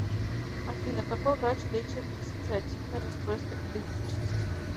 афина какой врач лечит диссоциативное расстройство идентичности